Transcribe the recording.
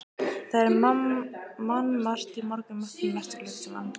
Það var mannmargt í morgunmatnum næsta klukkutímann.